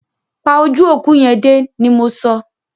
Pa ojú òkú yẹn dé! ni mọ so.